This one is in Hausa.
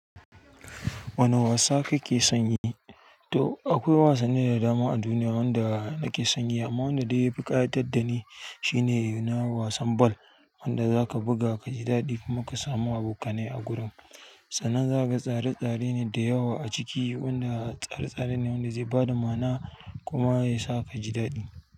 Wane wasa kake son yi? To akwai wasanni da dama a duniya wanda nake son yi amma wanda dai ya fi ƙayatar da ni shine na wasan bal wanda za ka buga ka ji daɗi kuma ka samu abokanai a gurin. Sannan za ka tsare tsare ne da yawa a ciki wanda tsare tsare ne wanda zai ba da ma'ana kuma ya sa ka ji daɗi.